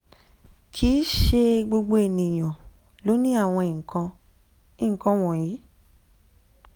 kì í ṣe gbogbo ènìyàn ló ní àwọn nkan nkan wọ̀nyí